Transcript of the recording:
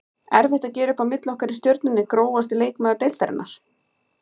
Erfitt að gera upp á milli okkar í Stjörnunni Grófasti leikmaður deildarinnar?